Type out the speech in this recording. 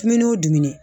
Dumuni o dumuni